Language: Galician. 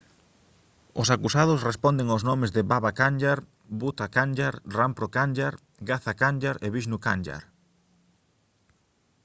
os acusados responden aos nomes de baba kanjar bhutha kanjar rampro kanjar gaza kanjar e vishnu kanjar